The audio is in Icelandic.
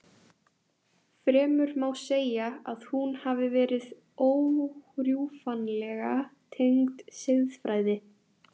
Fremur má segja að hún hafi verið órjúfanlega tengd siðfræði.